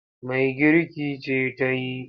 Mai girki ce ta yi.